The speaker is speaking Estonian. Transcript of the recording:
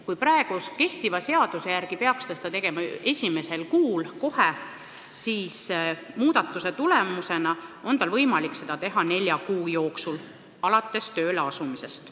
Kui praegu kehtiva seaduse järgi peaks ta seda tegema kohe esimesel kuul, siis muudatuse tulemusena on tal võimalik seda teha nelja kuu jooksul alates tööle asumisest.